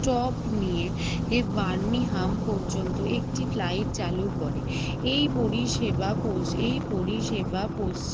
stop নিয়ে Birmingham পর্যন্ত একটি flight চালু করে এই পরিষেবা পৌঁছে এই পরিষেবা পৌঁছে